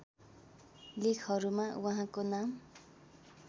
लेखहरूमा उहाँको नाम